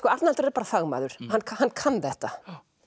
Arnaldur er bara fagmaður hann kann kann þetta